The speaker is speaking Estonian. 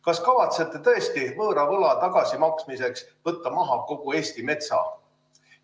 Kas kavatsete tõesti võõra võla tagasimaksmiseks võtta maha kogu Eesti metsa?